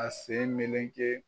A sen meleke